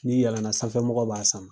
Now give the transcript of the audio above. N'i yɛlɛna, sanfɛ mɔgɔw b'a sama.